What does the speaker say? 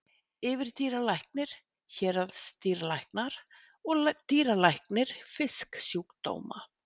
Yfirdýralæknir, héraðsdýralæknar og dýralæknir fisksjúkdóma.